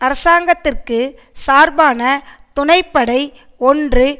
அரசாங்கத்திற்கு சார்பான துணை படை ஒன்று